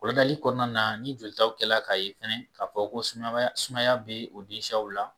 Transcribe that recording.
Kɔlɔnali kɔnɔna na ni jolitaw kɛla k'a ye fɛnɛ k'a fɔ ko sunɔgɔya sumaya bɛ o den siyaw la.